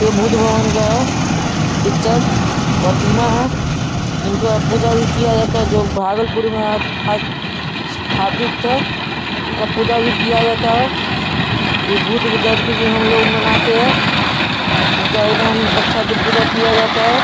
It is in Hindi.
ये बुद्ध भगवान का पिक्चर प्रतिमा है इनका पूजा भी किया जाता है जो भागलपुर में स्थापित था। इनका पूजा भी किया जाता है। ये बुद्ध की जयंती भी हम लोग मनाते हैं उनका एकदम अच्छा से पूजा किया जाता है।